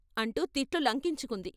అంటూ తిట్లు లంకించుకుంది.